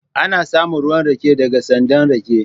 Ana samun ruwan rake daga sandan rake